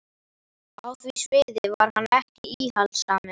Og á því sviði var hann ekki íhaldssamur.